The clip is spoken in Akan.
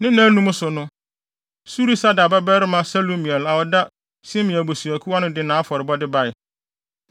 Ne nnaanum so no, Surisadai babarima Selumiel a ɔda Simeon abusuakuw ano no de nʼafɔrebɔde bae.